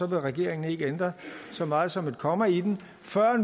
vil regeringen ikke ændre så meget som et komma i den før